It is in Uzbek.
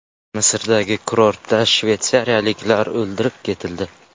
Misrdagi kurortda shvetsiyaliklar o‘ldirib ketildi.